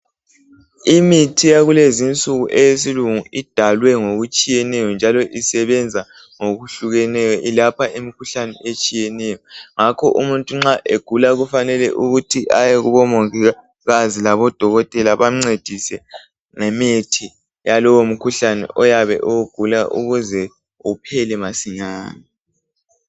Imithi yakulezinsuku eyesilungu idalwe ngokutshiyeneyo njalo isebenza ngokuhlukeneyo ilapha imikhuhlane etshiyeneyo. Ngakho nxa umuntu egula kufanele ukuthi aye kubomongikazi labodokotela bamncedise ngemithi yalowomkhuhlane oyabe ewugula ukuze uphele masinyane.